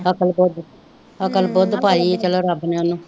ਅਕਲ ਬੱਧ ਅਕਲ ਬੁੱਧ ਪਾਈ ਚਲੋ ਰੱਬ ਨੇ ਉਹਨੂੰ